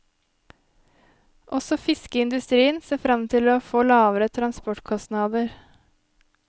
Også fiskeindustrien ser frem til å få lavere transportkostnader.